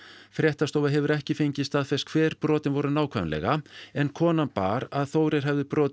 fréttastofa hefur ekki fengið staðfest hver brotin voru nákvæmlega en konan bar að Þórir hefði brotið